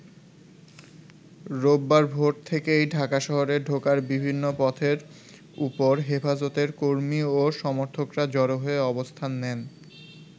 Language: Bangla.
রোববার ভোর থেকেই ঢাকা শহরে ঢোকার বিভিন্ন পথের ওপর হেফাজতের কর্মী ও সমর্থকরা জড়ো হয়ে অবস্থান নেন।